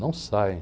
Não saem.